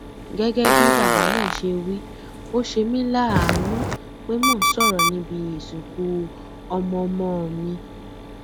gẹgẹ bí bàbá náà ṣe wí ó ṣe mí láàánú pé mò ń sọrọ níbi ìsìnkú ọmọọmọ mi